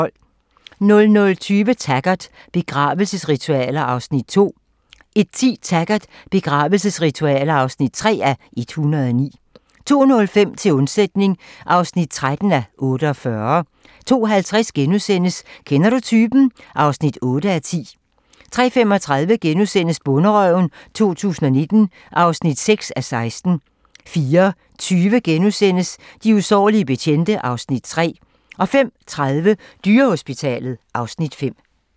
00:20: Taggart: Begravelsesritualer (2:109) 01:10: Taggart: Begravelsesritualer (3:109) 02:05: Til undsætning (13:48) 02:50: Kender du typen? (8:10)* 03:35: Bonderøven 2019 (6:16)* 04:20: De usårlige betjente (Afs. 3)* 05:30: Dyrehospitalet (Afs. 5)